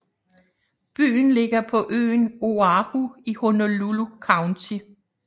Byen ligger på øen Oahu i Honolulu County